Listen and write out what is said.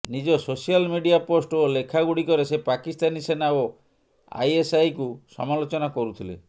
ନିଜ social media post ଓ ଲେଖାଗୁଡ଼ିକରେ ସେ ପାକିସ୍ତାନୀ ସେନା ଓ ଆଇଏସଆଇକୁ ସମାଲୋଚନା କରୁଥିଲେ